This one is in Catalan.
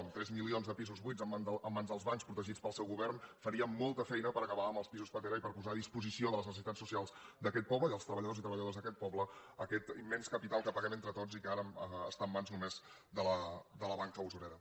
amb tres milions de pisos buits en mans dels bancs protegits pel seu govern faríem molta feina per acabar amb els pisos pastera i posar a disposició de les necessitats socials d’aquest poble i dels treballadors i treballadores d’a·quest poble aquest immens capital que paguem entre tots i que ara està en mans només de la banca usurera